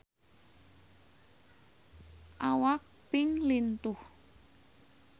Awak Pink lintuh